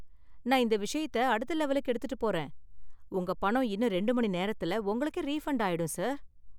நான் இந்த விஷயத்த அடுத்த லெவலுக்கு எடுத்துட்டு போறேன், உங்க பணம் இன்னும் ரெண்டு மணி நேரத்துல உங்களுக்கே ரீஃபண்டு ஆயிடும் சார்.